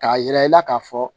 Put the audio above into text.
K'a yira i la k'a fɔ